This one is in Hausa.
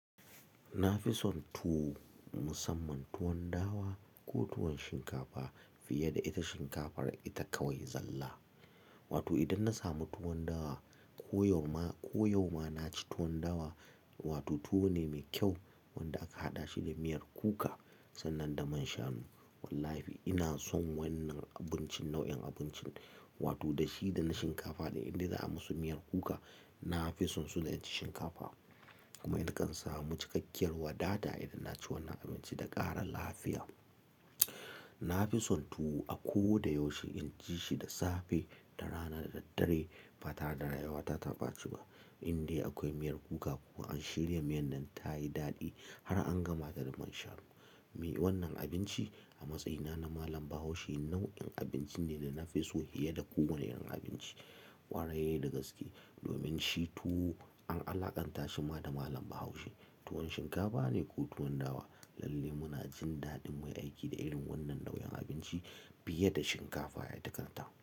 Na fi son tuwo musamman tuwon dawa, ko tuwon shinkafa fiye da ita shinkafar ita kawai zalla. Wato idan na samu tuwon dawa, ko yau ma ko yau ma na ci tuwon dawa, wato tuwo ne mai kyau wanda aka haɗa shi da miyar kuka sannan da man shanu. Wallahi ina son wannan abincin nau'in abincin wato da shi da na shinkafa da inda za a musu miyar kuka. Na fi son su da in ci shinkafa, kuma nakan samu cikakkiyar wadata idan na ci wannan abinci da ƙara lafiya. Na fi son tuwo a ko da yaushe, in ci shi da safe, da rana, da daddare, ba tara daga yawa ta taɓa ci ba. Inde akwai miyar kuka kuma an shirya miyan nan ta yi daɗi har an gama da man shanu. Wai wannan abinci a matsayina na Malam Bahaushe nau'in abinci ne da na fi so fiye da kowane irin abinci ƙwarai da gaske. Domin shi tuwo an alaƙanta shi ma da Mallam Bahaushe. Tuwon shinkafa ne ko tuwon dawa, lalle muna jin daɗin mai aiki da irin wannan nau'in abinci. Fiye da shinkafa ita kanta.